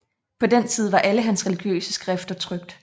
På den tid var alle hans religiøse skrifter trykt